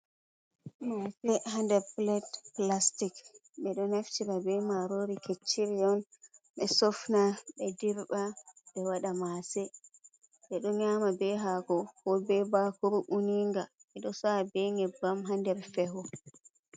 Maase, haa nder pilet plastik. Ɓe ɗo naftira be maarori kecciri on, ɓe sofna, ɓe dirɓa, ɓe waɗa maase. Ɓe ɗo nyama be haako, ko be baakuru uninnga. Ɓe ɗo sa’a be nyebbam haa nder feho.